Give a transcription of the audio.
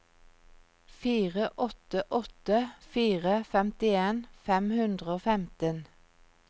fire åtte åtte fire femtien fem hundre og femten